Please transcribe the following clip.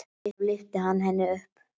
Og svo lyfti hann henni upp.